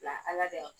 La ala de